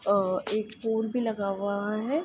अ- एक पोल भी लगा हुआ है।